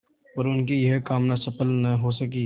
पर उनकी यह कामना सफल न हो सकी